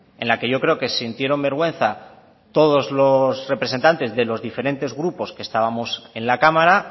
en la que yo creo que sintieron vergüenza todos los representantes de los diferentes grupos que estábamos en la cámara